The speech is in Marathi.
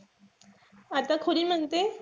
आता म्हणते,